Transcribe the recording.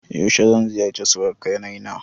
Yaushe zan ziyarce suruƙanai na?